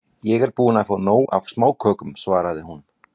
Ég er búin að fá nóg af smákökum, svaraði hún.